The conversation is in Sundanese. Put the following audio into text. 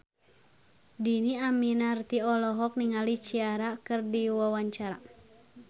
Dhini Aminarti olohok ningali Ciara keur diwawancara